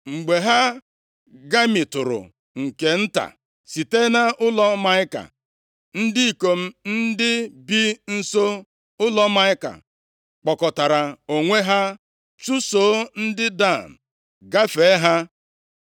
Mgbe ha gamitụrụ nke nta site nʼụlọ Maịka, ndị ikom ndị bi nso ụlọ Maịka kpọkọtara onwe ha chụso ndị Dan, gafee ha.